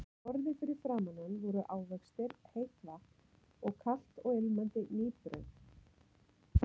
Á borði fyrir framan hann voru ávextir, heitt vatn og kalt og ilmandi ný brauð.